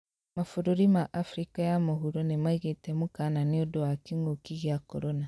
Mabũrũri ma Afrika ya mũhuro nĩmaigĩte mũkana nĩundũ wa kĩngũki kĩa corona